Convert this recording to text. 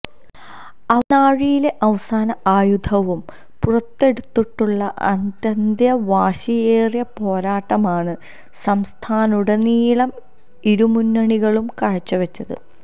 ആവനാഴിയിലെ അവസാന ആയുധവും പുറത്തെടുത്തുള്ള അത്യന്തം വാശിയേറിയ പോരാട്ടമാണ് സംസ്ഥാനത്തുടനീളം ഇരുമുന്നണികളും കാഴ്ചവെച്ചത്